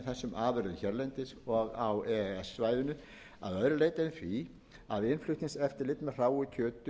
afurðum hérlendis og á e e s svæðinu að öðru leyti en því að innflutningseftirlit með hráu kjöti